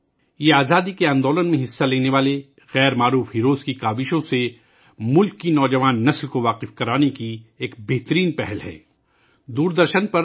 ملک کی نوجوان نسل کو تحریک آزادی میں حصہ لینے والے ان ہیروز اور ہیروئنوں کی کاوشوں سے روشناس کرانے کا یہ ایک بہترین اقدام ہے